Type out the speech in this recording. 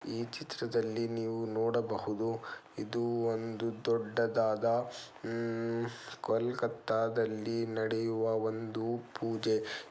ಈ ಚಿತ್ರದಲ್ಲಿ ನೀವು ನೋಡಬಹುದು ಇದು ಒಂದು ದೊಡ್ಡದಾದ ಉಮ್ ಕೋಲ್ಕತ್ತಾದಲ್ಲಿ ನಡೆಯುವ ಒಂದು ಪೂಜೆ .